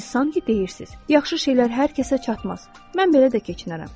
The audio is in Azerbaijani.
Siz sanki deyirsiz: Yaxşı şeylər hər kəsə çatmaz, mən belə də keçinərəm.